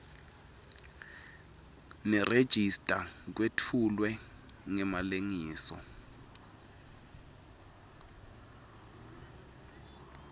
nerejista kwetfulwe ngemalengiso